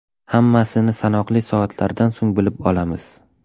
Hammasini sanoqli soatlardan so‘ng bilib olamiz.